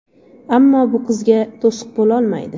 Ammo bu qizga to‘siq bo‘la olmaydi.